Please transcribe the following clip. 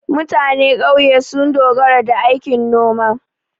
Mutane ƙauye sun dogara da aikin noma.